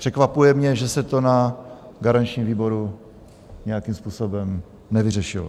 Překvapuje mě, že se to na garančním výboru nějakým způsobem nevyřešilo.